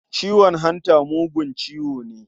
Ciwon hanta mugun ciwo ne.